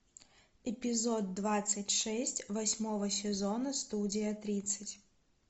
эпизод двадцать шесть восьмого сезона студия тридцать